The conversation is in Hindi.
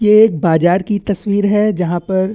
ये एक बाजार की तस्वीर है जहाँ पर--